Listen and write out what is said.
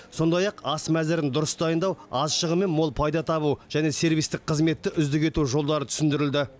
сондай ақ ас мәзірін дұрыс дайындау аз шығынмен мол пайда табу және сервистік қызметті үздік ету жолдары түсіндірілді